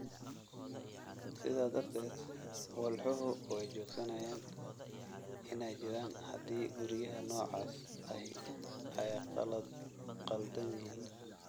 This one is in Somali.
Sidaa darteed, walxuhu way joogsanayaan inay jiraan haddii guryaha noocaas ahi ay khaldan yihiin.